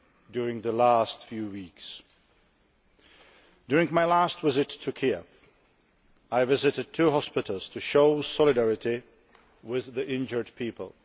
during the past few weeks. During my last visit to Kiev, I visited two hospitals to show solidarity with the injured people.